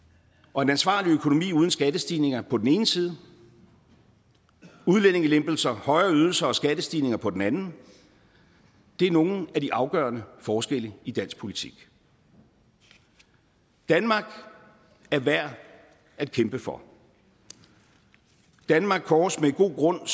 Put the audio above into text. og en ansvarlig økonomi uden skattestigninger på den ene side og udlændingelempelser højere ydelser og skattestigninger på den anden er nogle af de afgørende forskelle i dansk politik danmark er værd at kæmpe for danmark kåres med god grund